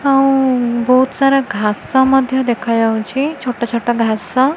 ଆଉ ବହୁତ୍ ସାରା ଘାସ ମଧ୍ୟ ଦେଖାଯାଉଛି ଛୋଟ ଛୋଟ ଘାସ।